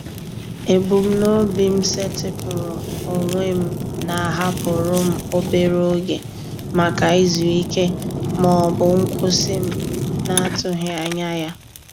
Ebumnobi m setịpụrụ onwe m na-ahapụrụ m obere oge maka izu ike ma ọ bụ nkwụsị m na-atụghị anya ya.